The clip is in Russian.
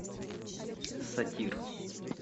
сатир